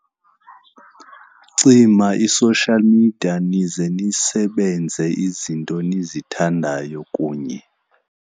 Cima i-social media nize ndisebenze izinto enizithandayo kunye.